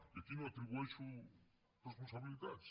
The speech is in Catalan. i aquí no atribueixo responsabilitats